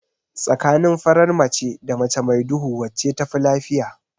Tsakanin farar mace da mace mai duhu wacce tafi lafiya?